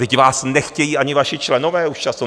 Vždyť vás nechtějí ani vaši členové už často.